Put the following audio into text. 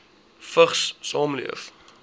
vigs saamleef